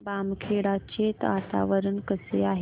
बामखेडा चे वातावरण कसे आहे